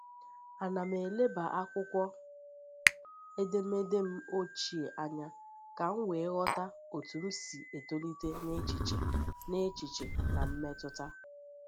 Ana m eleba akwụkwọ edemede m ochie anya ka m wee ghọta otú m si etolite n’echiche n’echiche na mmetụta.